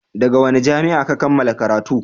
daga wani jami'a Ka kammala karatu?